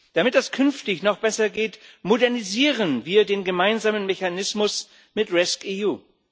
Damit das künftig noch besser geht, modernisieren wir den gemeinsamen Mechanismus mit rescEU.